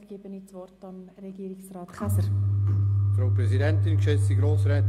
Somit gebe ich das Wort Regierungsrat Käser.